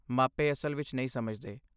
ਮਾਪੇ ਅਸਲ ਵਿੱਚ ਨਹੀਂ ਸਮਝਦੇ।